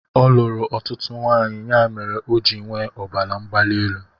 Ọ luru ọtụtụ nwaanyị ya mere ọ ji nwee ọbara mgbali elu